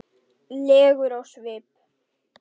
legur á svip.